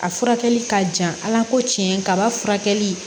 A furakɛli ka jan ala ko tiɲɛ kaba furakɛli